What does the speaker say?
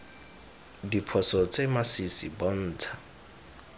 diphoso tse di masisi bontsha